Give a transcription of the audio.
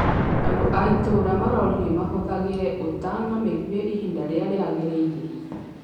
Andũ a itũra maroririo mahũthagĩra ũta na mĩguĩ ihinda rĩrĩa rĩagĩrĩire